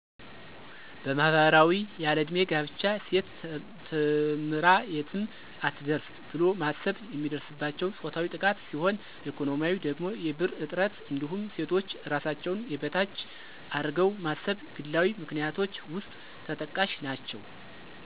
በማህበራዊ ያለዕድሜ ጋብቻ፣ ሴት ተምራ የትም አትደርስ ብሎ ማሰብ፣ የሚደርስባቸው ፆታዊ ጥቃት ሲሆን በኢኮኖሚያዊ ደግሞ የብር እጥረት እንዲሁም ሴቶች እራሳቸውን የበታች አርገው ማሰብ ግላዊ ምክንያቶች ውስጥ ተጠቃሽ ናቸው።